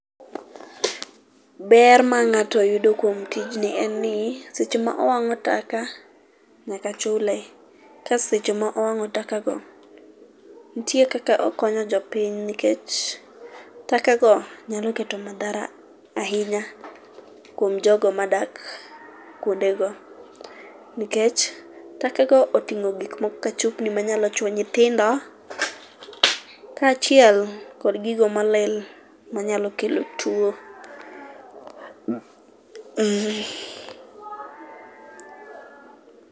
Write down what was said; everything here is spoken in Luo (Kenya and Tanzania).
Ber ma ng'ato yudo kuom tijni en ni, seche ma owang'o taka, nyaka chule. Ka seche ma owang'o takago, nitie kaka okonyo jopiny nikech taka gio nyalo kelo m madhara kuom jogo madak kuondego nikech takago oting'o chupni ma nyalo chuoyo nyithindo kaachiel kod gigo molil manyalo kelo tuo.